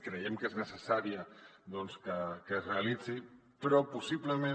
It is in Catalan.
creiem que és necessària doncs que es realitzi però possiblement